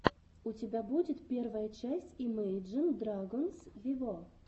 у тебя будет первая часть имейджин драгонс вево